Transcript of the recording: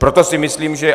Proto si myslím, že...